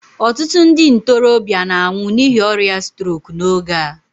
ọtụtụ ndị ntorobịa na-anwụ n'ihi ọrịa strok n'oge a